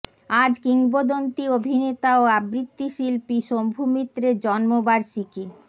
আজ কিংবদন্তি অভিনেতা ও আবৃত্তি শিল্পী শম্ভু মিত্রের জন্ম বার্ষীকি